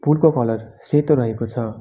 पुलको कलर सेतो रहेको छ।